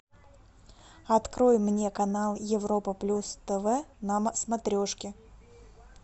открой мне канал европа плюс тв на смотрешке